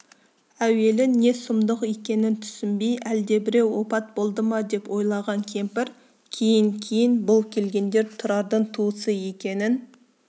әуелі не сұмдық екенін түсінбей әлдебіреу опат болды ма деп ойлаған кемпір кейін-кейін бұл келгендер тұрардың туысы екенін